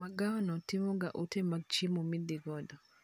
Magawano timoga ote mag chiemo midhi godo